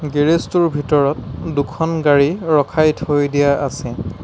Garage টোৰ ভিতৰত দুখন গাড়ী ৰখাই থৈ দিয়া আছে।